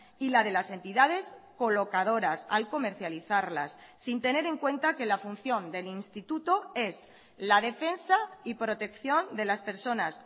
y la de las entidades colocadoras al comercializarlas sin tener en cuenta que la función del instituto es la defensa y protección de las personas